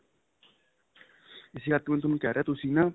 ਇਸੀ ਕਰਕੇ ਮੈਂ ਤੁਹਾਨੂੰ ਕਹਿ ਰਿਹਾ ਤੁਸੀਂ ਨਾ